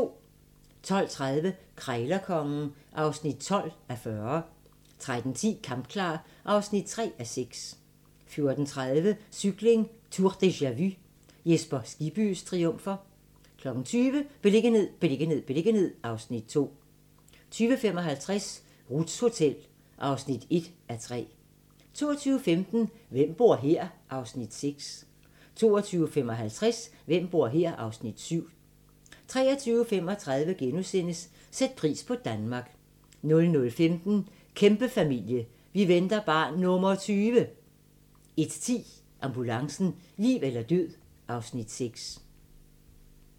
12:30: Krejlerkongen (12:40) 13:10: Kampklar (3:6) 14:30: Cykling: Tour deja-vu - Jesper Skibbys triumfer 20:00: Beliggenhed, beliggenhed, beliggenhed (Afs. 2) 20:55: Ruths Hotel (1:3) 22:15: Hvem bor her? (Afs. 6) 22:55: Hvem bor her? (Afs. 7) 23:35: Sæt pris på Danmark * 00:15: Kæmpefamilie - vi venter barn nr. 20! 01:10: Ambulancen - liv eller død (Afs. 6)